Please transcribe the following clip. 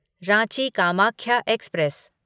Ranchi Kamakhya express